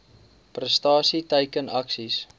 prestasie teiken aksies